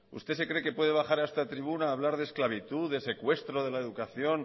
usted se cree que puede bajar a esta tribuna a hablar de esclavitud de secuestro de la educación